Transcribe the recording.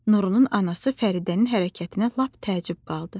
Nurunun anası Fəridənin hərəkətinə lap təəccüb qaldı.